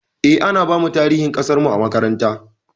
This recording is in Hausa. Eh, ana bamu tarihi ƙasarmu a makaranta.